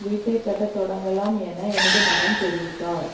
வீட்டை கட்டத் தொடங்கலாம் என எனது மகன் தெரிவித்தார்